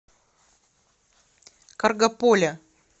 каргополя